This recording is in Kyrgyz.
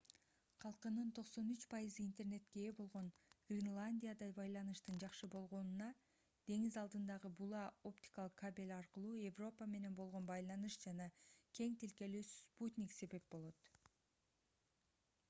калкынын 93% интернетке ээ болгон гренландияда байланыштын жакшы болгонуна деңиз алдындагы була-оптикалык кабель аркылуу европа менен болгон байланыш жана кең тилкелүү спутник себеп болот